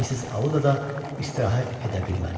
Missis Audda da istirahət edə bilmədi.